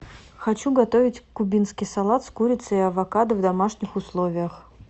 хочу готовить кубинский салат с курицей и авокадо в домашних условиях